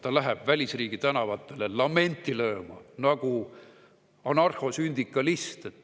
Ta läheb välisriigi tänavatele lamenti lööma, nagu anarhosündikalist.